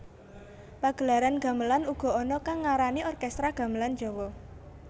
Pagelaran gamelan uga ana kang ngarani orkestra gamelan Jawa